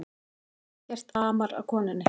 Ekkert amar að konunni